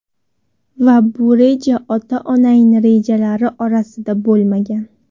Va bu reja ota onangni rejalari orasida bo‘lmagan.